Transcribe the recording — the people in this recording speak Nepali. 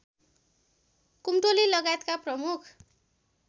कुम्टोली लगायतका प्रमुख